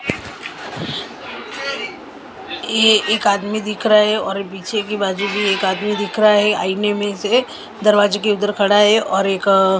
ये एक आदमी दिख रहा है और पीछे की बाजू भी एक आदमी दिख रहा है आईने में से दरवाजे के उधर खड़ा है और एक--